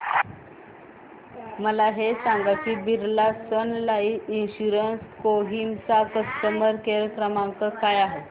मला हे सांग की Birla Sun Life Insurance Kohima चा कस्टमर केअर क्रमांक काय आहे